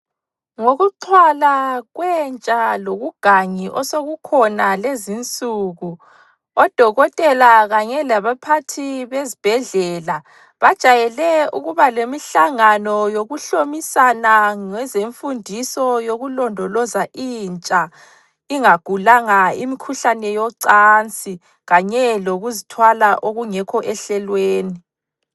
Ngokuxhwala kwentsha lobugangi osokukhona lezinsuku, odokotela kanye labaphathi bezibhedlela bajayele ukubalemihlangano yokuhlomisana ngezemfundiso yokulondoloza intsha ingagulanga imkhuhlane yocansi kanye lokuzithwala okungekho ehlelweni.